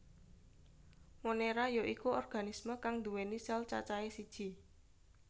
Monera ya iku organisme kang nduwèni sel cacahe siji